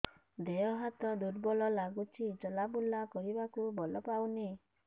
ଦେହ ହାତ ଦୁର୍ବଳ ଲାଗୁଛି ଚଲାବୁଲା କରିବାକୁ ବଳ ପାଉନି